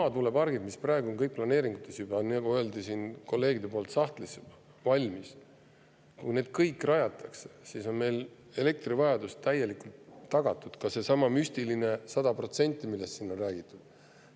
Kui kõik need maatuulepargid, mis kõik on ka praegu juba planeeringutes, on sahtlis valmis, nagu siin kolleegid ütlesid, ja kui kõik need rajatakse, siis on meie elektrivajadus täielikult tagatud, ka seesama müstiline 100%, millest siin on räägitud.